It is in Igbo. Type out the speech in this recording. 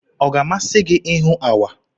Ọ ga-amasị gị ịhụ awa?